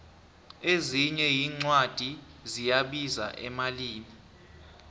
ezinye incwadi ziyabiza emalini